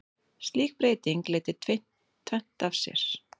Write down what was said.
Slík breyting leiddi tvennt af sér.